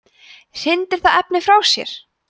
hrindir það efni frá sér